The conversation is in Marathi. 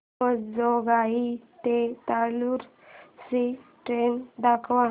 अंबेजोगाई ते लातूर ची ट्रेन दाखवा